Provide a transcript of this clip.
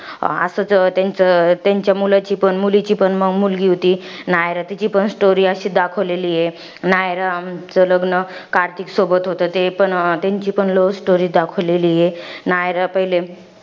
असंच अं त्याचं अं त्यांच्या मुलाचीपण, मुलीची पण मुलगी होती. नायरा. तिची पण story अशीच दाखवलेली आहे. नायराचं लग्न कार्तिक सोबत होतं. ते, त्यांची पण love story दाखवलेली आहे. नायरा पहिले,